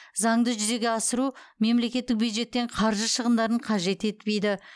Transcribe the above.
заңды жүзеге асыру мемлекеттік бюджеттен қаржы шығындарын қажет етпейді